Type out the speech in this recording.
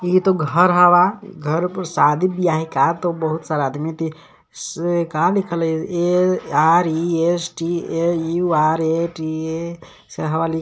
इ त घर हवा घरे पर शादी बियाहये का त बहुत सारा आदमी दे से का लिखल ए_आर_ई_एस_टी_ए_यू_आर_टी_ए से हवा लिखल.